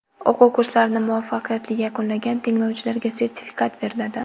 O‘quv kurslarini muvaffaqiyatli yakunlagan tinglovchilarga sertifikat beriladi.